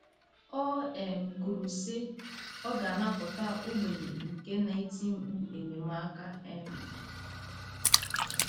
O um kwuru, sị: “ Ọ ga - anapụta ogbenye nke na - eti mkpu enyemaka um...